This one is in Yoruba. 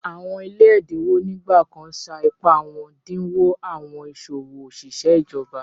Awọn ile èdínwò nígbàkàn ṣá ìpá wọn dínwò awọn iṣọwọ oṣiṣẹ̀ ìjọ̀bà